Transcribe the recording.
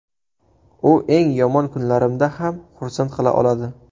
U eng yomon kunlarimda ham xursand qila oladi.